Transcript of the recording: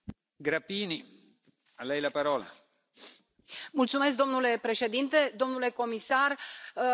Domnule președinte, domnule comisar, trebuie să vă spun că sunt de acord cu tot ceea ce ați specificat aici.